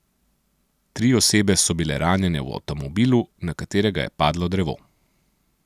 Tri osebe so bile ranjene v avtomobilu, na katerega je padlo drevo.